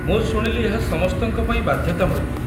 ମୁଁ ଶୁଣିଲି ଏହା ସମସ୍ତଙ୍କ ପାଇଁ ବାଧ୍ୟତାମୂଳକ।